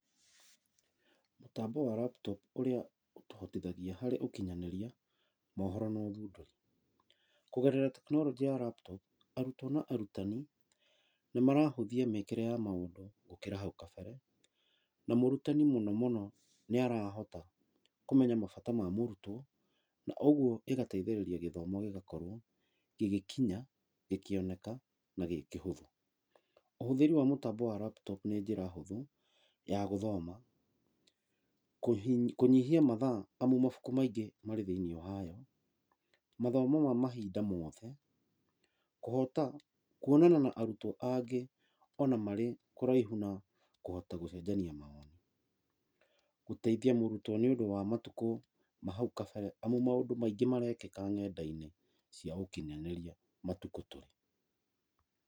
Mũtambo wa laptop ũrĩa ũtũhotithagia harĩ ũkinyanĩria, mohoro na ũthundũri. Kũgerera technology ya laptop , arutwo na arutani, nĩmarahũthia mĩĩkĩre ya maũndũ gũkĩra hau kabere na mũrutani mũnomũno nĩ arahota kũmenya mabata ma mũrutwo na ũguo ĩgatuĩka ya gũteithĩrĩria gĩthomo gĩgakorwo gĩgĩkinya, gĩkĩoneka na kĩrĩ kĩhũthũ. Ũhũthĩri wa mũtambo wa laptop nĩ njĩra hũthũ ya gũthoma, kũnyihia mathaa amu mabuku maingĩ marĩ thĩiniĩ wayo, mathomo ma mahinda moothe, kũhota kuonana na arutwo angĩ o na marĩ kũraihu na kũhota gũcenjania mawoni. Gũteithia mũrutwo nĩ ũndũ wa matukũ ma hau kabere amu maũndũ maingĩ marekĩka ng'endainĩ cia ũkinyanĩria matukũ tũrĩ.